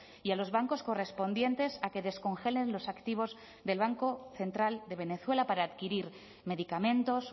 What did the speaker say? y a los bancos correspondientes a que descongelen los activos del banco central de venezuela para adquirir medicamentos